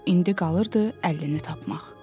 İndi qalırdı 50-ni tapmaq.